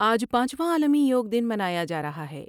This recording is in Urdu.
آج پانچواں عالمی یوگ دن منا یا جا رہا ہے ۔